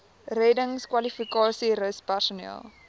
reddingskwalifikasies rus personeel